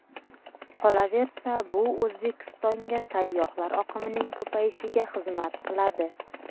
Qolaversa, bu O‘zbekistonga sayyohlar oqimining ko‘payishiga xizmat qiladi.